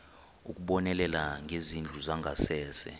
ukubonelela ngezindlu zangasese